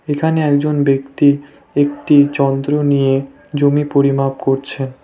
এখানে একজন ব্যক্তি একটি যন্ত্র নিয়ে জমি পরিমাপ করছে।